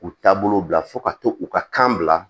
U taabolo bila fo ka to u ka kan bila